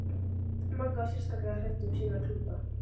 Magga var sérstaklega hrædd um sína klúta.